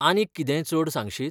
आनीक कितेंय चड सांगशीत?